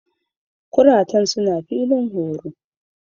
Kurtun suna filin horo.